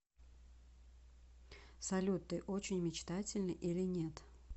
салют ты очень мечтательный или нет